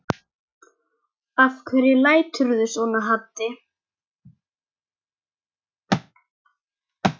Af hverju læturðu svona Haddi?